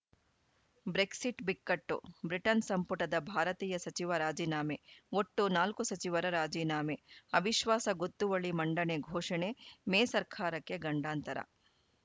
Brexit ಬಿಕ್ಕಟ್ಟು Britain ಸಂಪುಟದ ಭಾರತೀಯ ಸಚಿವ ರಾಜೀನಾಮೆ ಒಟ್ಟು ನಾಲ್ಕು ಸಚಿವರ ರಾಜೀನಾಮೆ ಅವಿಶ್ವಾಸ ಗೊತ್ತುವಳಿ ಮಂಡನೆ ಘೋಷಣೆ ಮೇ ಸರ್ಕಾರಕ್ಕೆ ಗಂಡಾಂತರ